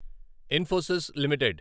Infosys limited